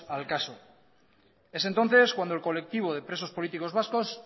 al caso es entonces cuando el colectivo de presos políticos vascos